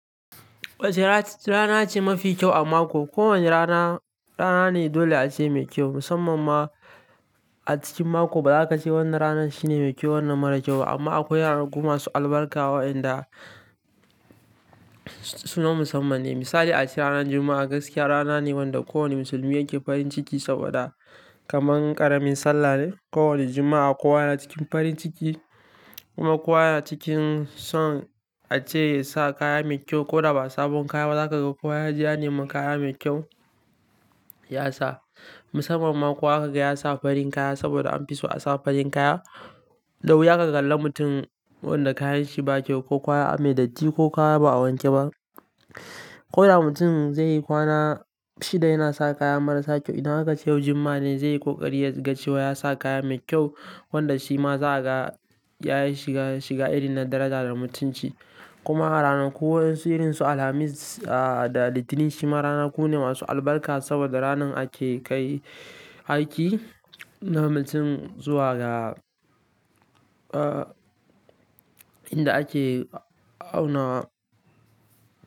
Wace rana ce mafi kyau a mako? Ko wane rana rana ne dole ace mai kyau, musamman ma a cikin mako. Ba za ka ce wanda rana shine mai kyau, wanda mara kyau ba. Amma akwai ranar guma masu albarka wa'yanda sunan musamman ne. Misali ace ranar Juma'a gaskiya rana ne wanda ko wane musulmi yake farin ciki saboda kaman ƙaramin sallah ne. Ko wani Juma'a kowa yana cikin farin ciki kuma kowa yana cikin son ace sa kaya mai kyau ko da ba sabon kaya ba. Za ka ga kowa ya ja ni makaya mai kyau ya sa. Musamman ma kowa aka ga ya sa farin kaya saboda an fi so a sa farin kaya. Da wuya ka kalla mutum wanda kayanshi ba kyau ko kowa ya yi datti ko kowa ba a wanke ba. Ko da mutum zai yi kwana shida yana sa kaya marasa kyau. Idan aka ce yau Juma'a ne zai yi ƙoƙari ya ga cewa ya sa kaya mai kyau wanda shi ma za a ga ya shiga, shiga iri na daraja da mutunci. Kuma ranaku wa'insirinsu Alhamis ah da Litinin shima ranaku ne masu albarka saboda ranar ake kai aiki na mutum zuwa ga ah inda ake auna.